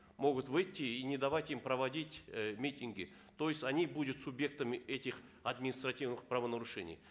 могут выйти и не давать им проводить э митинги то есть они будут субъектами этих административных правонарушений